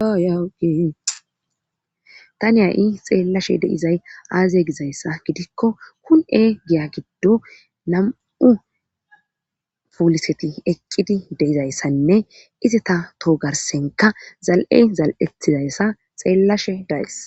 Tani xeellashe deizay aazeye gizayssa gidikko kun7e giya giddo nam7u puuliseti eqqidi deizayssanne ize ta toho garsenka zal7ey zal7etizayssa xeellashe daes